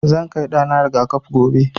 Zan kai ɗa na riga-kafi gobe.